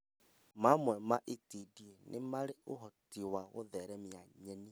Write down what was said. Mamwe ma itindiĩ nĩmarĩ ũhoti wa gũtheremia nyeni